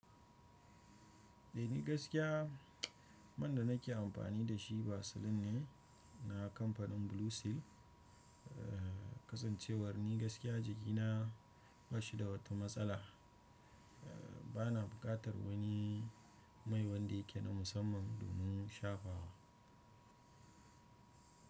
Ni gaskiya, man da nake amfani da shi vaseline ne na kamfanin Blue Seal. Kasancewar ni gaskiya jikina bashi da wata matsala, bana buƙatar wani mai wanda yake na musamman domin shafawa.